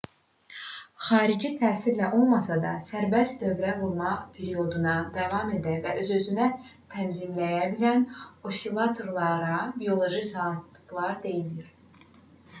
xarici təsirlə olmasa da sərbəst dövrə vurma periyoduna davam edə və öz-özünü tənzimləyə bilən osilatorlara bioloji saatlar deyilir